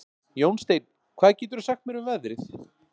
Jónsteinn, hvað geturðu sagt mér um veðrið?